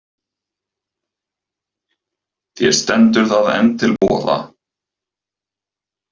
Þér stendur það enn til boða.